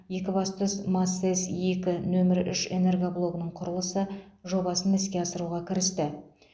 екібастұз масэс екі нөмір үш энергоблогының құрылысы жобасын іске асыруға кірісті